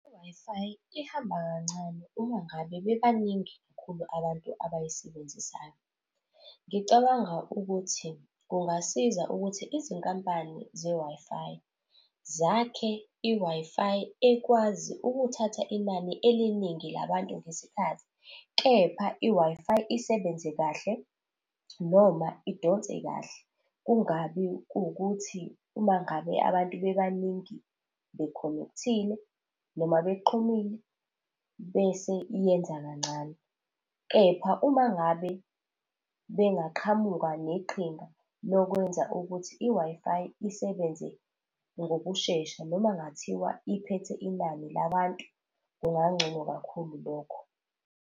I-Wi-Fi ihamba kancane uma ngabe bebaningi kakhulu abantu abayisebenzisayo. Ngicabanga ukuthi kungasiza ukuthi izinkampani ze-Wi-Fi zakhe i-Wi-Fi ekwazi ukuthatha inani eliningi labantu ngesikhathi, kepha i-Wi-Fi isebenze kahle noma idonse kahle kungabi kuwukuthi uma ngabe abantu babaningi be-connect-ile, noma bexhumile bese iyenza kancane. Kepha uma ngabe bengaqhamuka neqhinga lokwenza ukuthi i-Wi-Fi isebenze ngokushesha noma ngathiwa iphethe inani labantu, kungangcono kakhulu lokho.